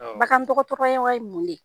Bagan tɔgɔtɔrɔ yɛn wayi mun le?